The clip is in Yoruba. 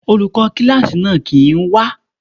Olùkó kíláàsì náà kìí wá.